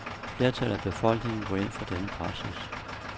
Flertallet af befolkningen går ind for denne praksis.